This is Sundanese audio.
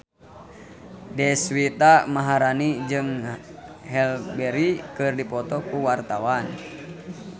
Deswita Maharani jeung Halle Berry keur dipoto ku wartawan